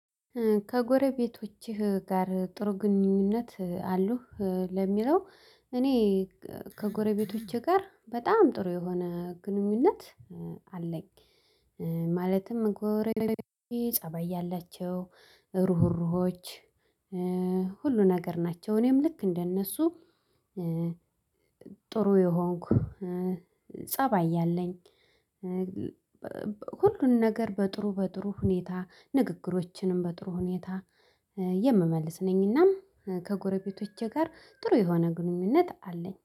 ከጎረቤቶችህ ጋር ጥሩ ግንኙነት አሉህ? ለሚለው እኔ ከጎረቤቶቼ ጋር በጣም ጥሩ የሆነ ግንኙነት አለኝ፤ ማለትም ጎረቢቶቼ ፀበይ ያላቸው። ሩህሩሆች ሁሉ ነገር ናቸው እኔም ልክ እንደነሱ ጥሩ የሆንኩ ፀባይ ያለኝ ሁሉን ነገር በጥሩ በጥሩ ሁኔታ ንግግሮችንም በጥሩ ሁኔታ የምመልስ ነኝና ከጎረቤቶቼ ጋር ጥሩ የሆነ ግንኙነት አለኝ።